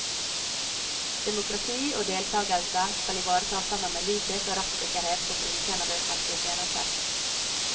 Demokrati og deltagelse skal ivaretas sammen med likhet og rettssikkerhet for brukerne av de offentlige tjenester.